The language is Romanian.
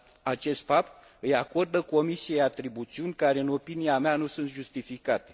Acest fapt îi acordă Comisiei atribuțiuni care, în opinia mea, nu sunt justificate.